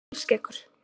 Kolskeggur